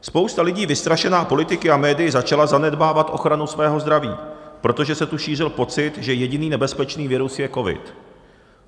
Spousta lidí, vystrašená politiky a médii, začala zanedbávat ochranu svého zdraví, protože se tu šířil pocit, že jediný nebezpečný virus je covid.